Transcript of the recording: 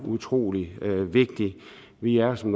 utrolig vigtig vi er som